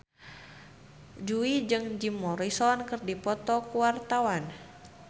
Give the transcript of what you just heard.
Jui jeung Jim Morrison keur dipoto ku wartawan